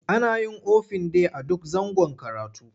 Ana yin ofin day a duk zangon karatu.